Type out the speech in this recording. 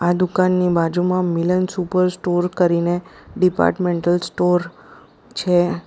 દુકાનની બાજુમાં Milan super store કરીને ડિપાર્ટમેન્ટલ સ્ટોર છે.